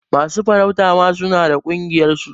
Masu farauta ma suna da ƙungiyar su.